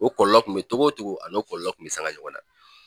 O kɔlɔlɔ kun be togo togo ani kɔlɔlɔ kun be sanga ɲɔgɔn na